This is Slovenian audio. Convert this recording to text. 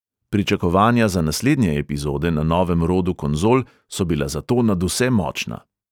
Pričakovanja za naslednje epizode na novem rodu konzol so bila zato nadvse močna.